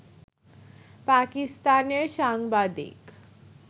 পাকিস্তানের সাংবাদিক